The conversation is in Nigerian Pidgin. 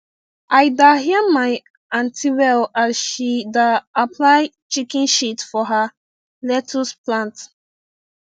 i da hear my aunty well as she da apply chicken shit for her lettuce plant